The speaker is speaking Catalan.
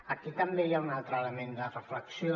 aquí també hi ha un altre element de reflexió